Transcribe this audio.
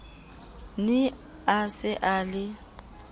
ne a se a le